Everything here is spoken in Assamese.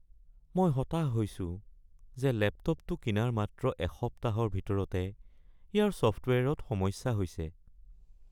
মই হতাশ হৈছো যে লেপটপটো কিনাৰ মাত্ৰ এসপ্তাহৰ ভিতৰতে ইয়াৰ ছফটৱেৰত সমস্যা হৈছে (গ্ৰাহক)